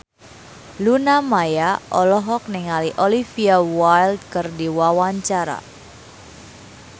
Luna Maya olohok ningali Olivia Wilde keur diwawancara